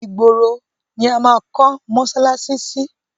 Ìgboro ni a máa kọ́ mọsálásí sí.